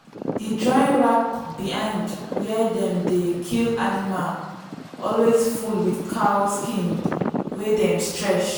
the drying rack behind where dem dey kill animal always full with cow skin wey dem stretch.